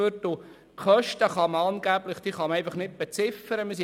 Die Kosten können angeblich nicht beziffert werden.